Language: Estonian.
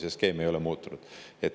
See skeem ei ole muutunud.